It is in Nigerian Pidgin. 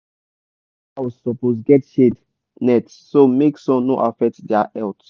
your animal house suppose get shade net so make sun no affect dia health.